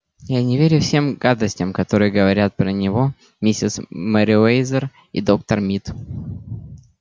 я не верю всем гадостям которые говорят про него миссис мерриуэзер и доктор мид